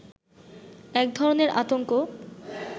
এক ধরনের আতংক